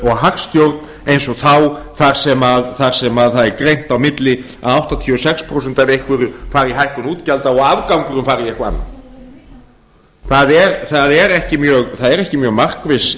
og hagstjórn eins og þá þar sem það er greint á milli að áttatíu og sex prósent af einhverju fari í hækkun útgjalda og afgangurinn fari í eitthvað annað það er ekki mjög markviss